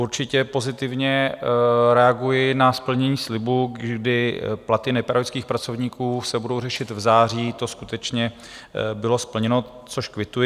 Určitě pozitivně reaguji na splnění slibu, kdy platy nepedagogických pracovníků se budou řešit v září, to skutečně bylo splněno, což kvituji.